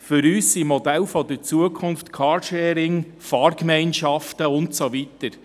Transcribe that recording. Für uns sind Modelle der Zukunft Carsharing, Fahrgemeinschaften und so weiter.